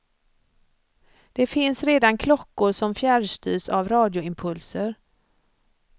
Det finns redan klockor som fjärrstyrs av radioimpulser.